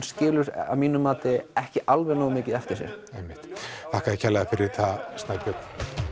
skilur að mínu mati ekki alveg nógu mikið eftir sig einmitt þakka þér kærlega fyrir það Snæbjörn